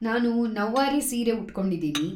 ನಾನು ನೌವಾರಿ ಸೀರೆ ಉಟ್ಕೊಂಡಿದೀನಿ.